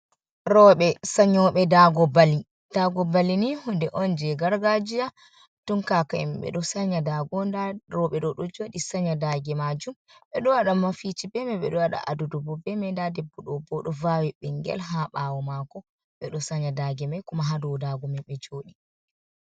Roɓe sanƴoɓe daago bali. Daago bali ni hunde on jee gargajiya tun kaka en ɓe ɗo sanƴa daago. Nda roobe ɗo, ɗo jooɗi sanƴa daage maajum. Ɓe ɗo waɗa mafici be mai. Ɓe ɗo waɗa adudu bo bee mai. Nda debbo ɗo bo, ɗo vaawi ɓingel haa baawo maako. Ɓe ɗo sanƴa daage mai kuma haa dow daago mai ɓe jooɗi.